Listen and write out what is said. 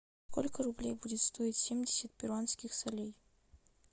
сколько рублей будет стоить семьдесят перуанских солей